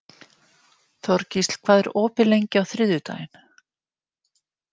Þorgísl, hvað er opið lengi á þriðjudaginn?